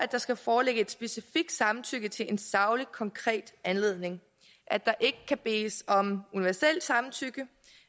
der skal foreligge et specifikt samtykke til en saglig konkret anledning at der ikke kan bedes om universelt samtykke